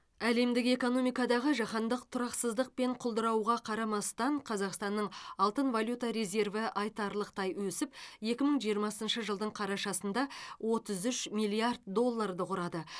әлемдік экономикадағы жаһандық тұрақсыздық пен құлдырауға қарамастан қазақстанның алтын валюта резерві айтарлықтай өсіп екі мың жиырмасыншы жылдың қарашасында отыз үш миллиард долларды құрады